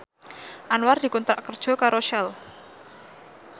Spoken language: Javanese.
Anwar dikontrak kerja karo Shell